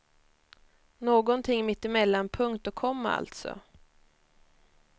Någonting mittemellan punkt och komma alltså.